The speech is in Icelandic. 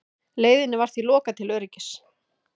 Leiðinni var því lokað til öryggis